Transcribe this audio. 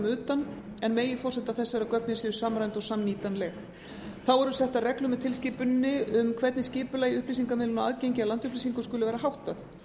utan en meginforsenda þess er að gögnin séu samræmd og samnýtanleg þá eru settar reglur með tilskipuninni um hvernig skipulagi upplýsingamiðlunar og aðgengi að landupplýsingum skuli vera háttað